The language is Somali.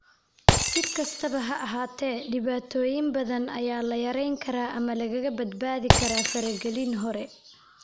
Si kastaba ha ahaatee, dhibaatooyin badan ayaa la yarayn karaa ama lagaga badbaadi karaa faragelin hore.